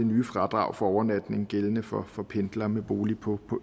nye fradrag for overnatning gældende for for pendlere med bolig på